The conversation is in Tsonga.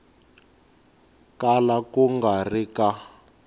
kala ku nga ri ka